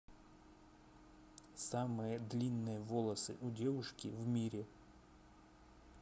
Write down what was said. самые длинные волосы у девушки в мире